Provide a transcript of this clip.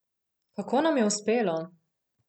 Kako nam je uspelo?